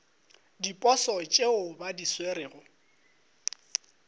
diposo tšeo ba di swerego